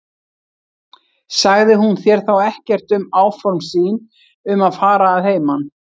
Sagði hún þér þá ekkert um áform sín um að fara að heiman?